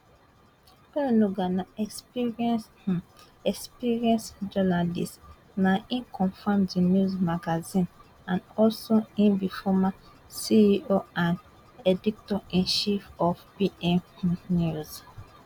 onunuga na experienced um experienced um journalist na him coform the news magazine and also im be former ceo and edictor in chief of pm um news